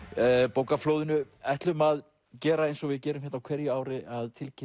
bókaflóðinu ætlum að gera eins og við gerum á hverju ári að tilkynna